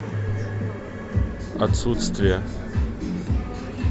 отсутствие